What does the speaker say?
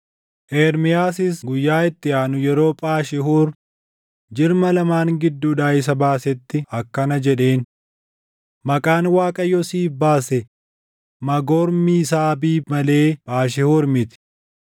Ermiyaasis guyyaa itti aanu yeroo Phaashihuur jirma lamaan gidduudhaa isa baasetti akkana jedheen; “Maqaan Waaqayyo siif baase Maagormiisaabiib malee Phaashihuur miti.